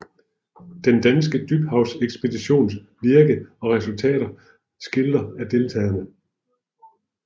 Den danske dybhavsekspeditions virke og resultater skildret af deltagerne